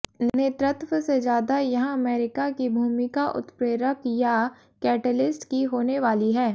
नेतृत्व से ज़्यादा यहाँ अमेरिका की भूमिका उत्प्रेरक या कैटेलिस्ट की होने वाली है